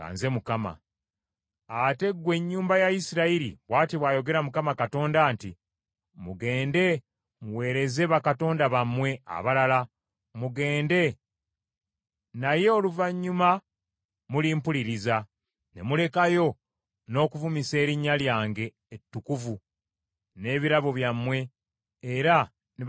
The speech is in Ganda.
“ ‘Ate ggwe ennyumba ya Isirayiri, bw’ati bw’ayogera Mukama Katonda nti, Mugende muweereze bakatonda bammwe abalala, mugende, naye oluvannyuma mulimpuliriza, ne mulekayo n’okuvumisa erinnya lyange ettukuvu n’ebirabo byammwe era ne bakatonda bammwe abalala.